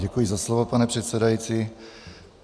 Děkuji za slovo, pane předsedající.